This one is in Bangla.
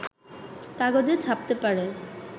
কাগজে ছাপতে পারে